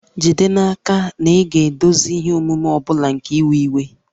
Jide n'aka na ị ga-edozi ihe omume ọ bụla nke iwe iwe